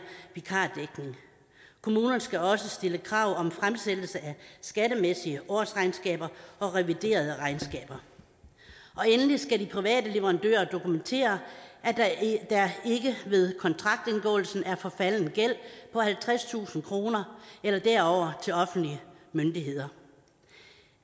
vikardækning kommunerne skal også stille krav om fremlæggelse af skattemæssige årsregnskaber og reviderede regnskaber og endelig skal de private leverandører dokumentere at der ikke ved kontraktindgåelsen er forfalden gæld på halvtredstusind kroner eller derover til offentlige myndigheder